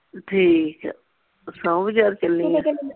ਠੀਕ ਆ ਸੋਮਬਜ਼ਾਰ ਚੱਲੀ ਆਂ